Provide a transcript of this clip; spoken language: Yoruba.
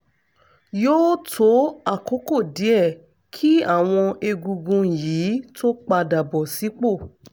yóò tó àkókò díẹ̀ kí àwọn egungun yìí tó padà bọ̀ sípò